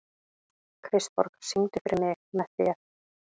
Kristborg, syngdu fyrir mig „Með þér“.